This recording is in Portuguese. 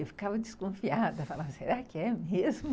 Eu ficava desconfiada, falava, será que é mesmo?